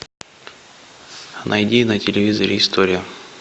найди на телевизоре историю